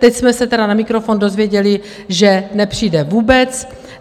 Teď jsme se tedy na mikrofon dozvěděli, že nepřijde vůbec.